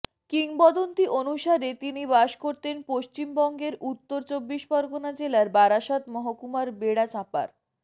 কিংবদন্তি অনুসারে তিনি বাস করতেন পশ্চিমবঙ্গের উত্তর চব্বিশ পরগণা জেলার বারাসাত মহকুমার বেড়াচাঁপার